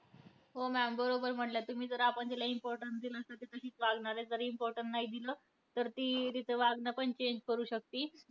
हो maam! बरोबर म्हटल्या तुम्ही. जर आपण तिला importance दिलं तर ती तसंच वागणार आहे. जर importance नाही दिलं, तर ती तीच वागणं पण change करू शकती.